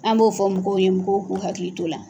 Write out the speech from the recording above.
An m'o fɔ mɔgɔw ye mɔgɔw k'u hakili t'o la.